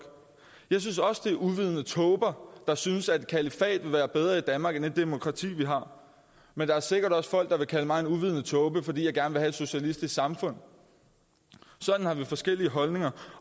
jeg synes også at det er uvidende tåber der synes at et kalifat vil være bedre i danmark end det demokrati vi har men der er sikkert også folk der vil kalde mig en uvidende tåbe fordi jeg gerne vil socialistisk samfund sådan har vi forskellige holdninger